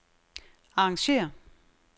arrangér